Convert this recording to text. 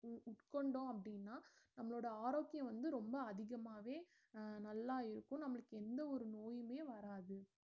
உ~ உட்கொண்டோம் அப்படின்னா நம்மளோட ஆரோக்கியம் வந்து ரொம்ப அதிகமாவே அஹ் நல்லா இருக்கும் நம்மளுக்கு எந்த ஒரு நோய்யுமே வராது